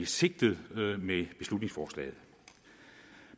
sigtet med beslutningsforslaget